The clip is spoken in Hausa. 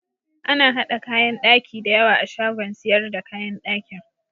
Ana haɗa kayan ɗaki da yawa a shagon siyar da kayan ɗakin.